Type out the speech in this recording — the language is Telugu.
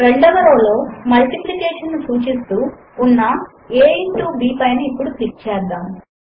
రెండవ రో లో మల్టిప్లికేషన్ ను సూచిస్తూ ఉన్న a ఇంటో b పైన ఇప్పుడు క్లిక్ చేద్దాము